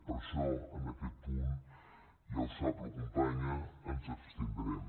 per això en aquest punt ja ho sap la companya ens abstindrem